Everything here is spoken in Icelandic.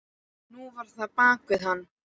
Nú var það bak við hann.